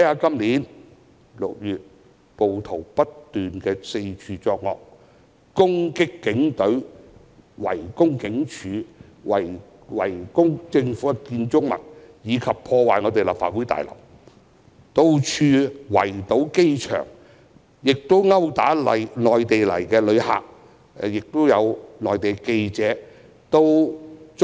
今年6月，暴徒不斷四處作惡，攻擊警隊，圍攻警署、政府建築物及破壞立法會大樓，以至圍堵機場、毆打內地來港旅客和記者。